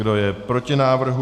Kdo je proti návrhu?